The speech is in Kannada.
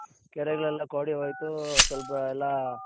ಕೆರೆಗಳೆಲ್ಲ ಕೋಡಿ ಹೋಯ್ತು ಸ್ವಲ್ಪ ಎಲ್ಲಾ,